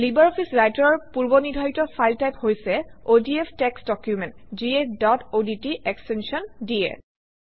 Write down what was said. LibreOffice Writer অৰ পূৰ্বনিৰ্ধাৰিত file type হৈছে অডিএফ টেক্সট ডকুমেণ্ট যিয়ে ডট অডট এক্সটেনশ্যন দিয়ে